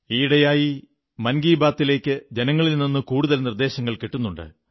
ഈയിടയായി മൻ കീ ബാത്തിലേക്ക് ജനങ്ങളിൽ നിന്ന് കൂടുതൽ നിർദ്ദേശങ്ങൾ കിട്ടുന്നുണ്ട്